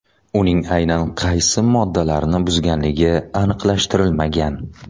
Uning aynan qaysi moddalarni buzganligi aniqlashtirilmagan.